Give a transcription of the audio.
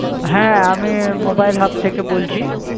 হ্যাঁ আমি mobile hub থেকে বলছি।